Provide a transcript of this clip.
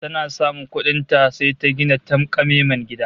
Tana samun kuɗin ta, sai ta gina tanƙamemen gida